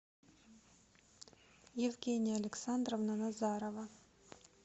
евгения александровна назарова